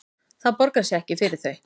Það borgar sig ekki fyrir þau